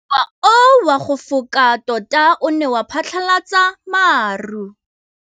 Mowa o wa go foka tota o ne wa phatlalatsa maru.